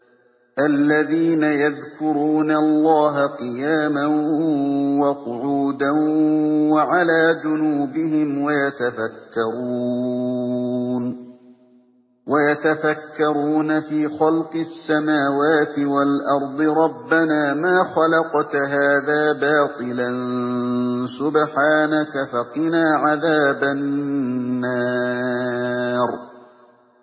الَّذِينَ يَذْكُرُونَ اللَّهَ قِيَامًا وَقُعُودًا وَعَلَىٰ جُنُوبِهِمْ وَيَتَفَكَّرُونَ فِي خَلْقِ السَّمَاوَاتِ وَالْأَرْضِ رَبَّنَا مَا خَلَقْتَ هَٰذَا بَاطِلًا سُبْحَانَكَ فَقِنَا عَذَابَ النَّارِ